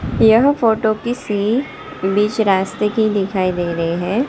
यह फोटो किसी बीच रास्ते की दिखाई दे रही हैं।